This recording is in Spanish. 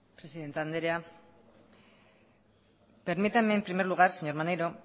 presidente anderea permíteme en primer lugar señor maneiro